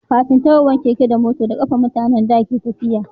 kafin tahowan keke da mota da kafa mutanen da ke tafiya